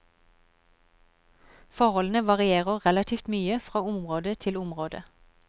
Forholdene varierer relativt mye fra område til område.